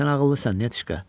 Sən ağıllısan, Nətişka.